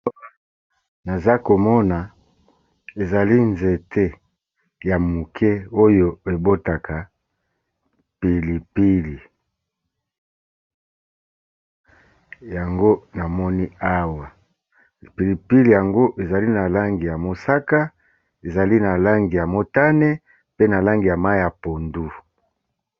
Naza komona ezali nzete ya moke oyo ebotaka pili pili, yango na moni awa. Pili pili yango ezali na langi ya mosaka, ezali na langi ya motane, pe na langi ya mayi ya pondu.